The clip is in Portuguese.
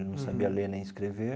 Ele não sabia ler nem escrever.